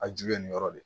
A ju bɛ nin yɔrɔ de ye